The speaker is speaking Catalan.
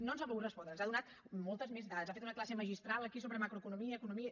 no ens ha volgut respondre ens ha donat moltes més dades ha fet una classe magistral aquí sobre macroeconomia economia